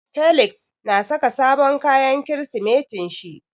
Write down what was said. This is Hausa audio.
Felix na saka sabon kayan Kirsimetin shi.